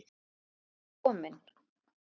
Hvert erum við komin?